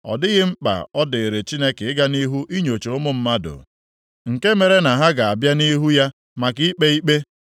Ọ dịghị mkpa ọ dịịrị Chineke ịga nʼihu inyocha ụmụ mmadụ, nke mere na ha ga-abịa nʼihu ya maka ikpe ikpe.